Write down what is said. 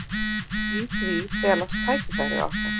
Í því felast tækifæri okkar.